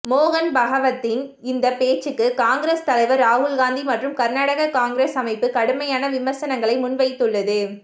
மோகன் பகவத்தின் இந்த பேச்சுக்கு காங்கிரஸ் தலைவர் ராகுல்காந்தி மற்றும் கர்நாடக காங்கிரஸ் அமைப்பு கடுமையான விமர்சனங்களை முன்வைத்துள்ளது